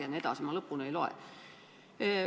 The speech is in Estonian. Ma lõpuni ei loe.